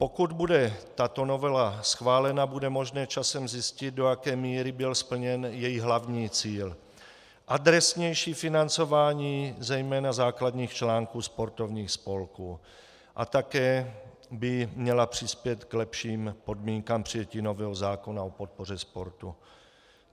Pokud bude tato novela schválena, bude možné časem zjistit, do jaké míry byl splněn její hlavní cíl, adresnější financování zejména základních článků sportovních spolků, a také by měla přispět k lepším podmínkám přijetí nového zákona o podpoře sportu.